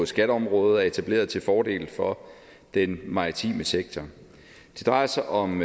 skatteområdet er etableret til fordel for den maritime sektor det drejer sig om